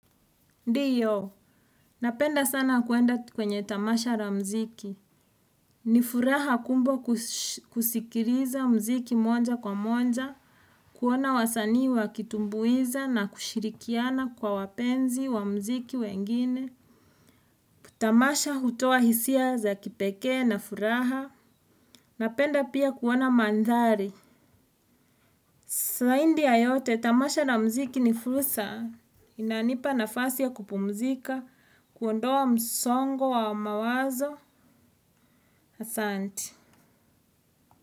Ndiyo, napenda sana kuenda kwenye tamasha la muziki. Ni furaha kubwa kusikiliza muziki moja kwa moja, kuona wasanii wakitumbuiza na kushirikiana kwa wapenzi wa muziki wengine. Tamasha hutoa hisia za kipekee na furaha. Napenda pia kuona mandhari. Zaidi ya yote, tamasha la muziki ni fursa, inanipa nafasi ya kupumzika, kuondoa msongo wa mawazo, asanti.